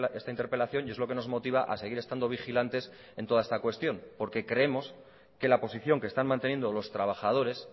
esta interpelación y es lo que nos motiva a seguir estando vigilantes en toda esta cuestión porque creemos que la posición que están manteniendo los trabajadores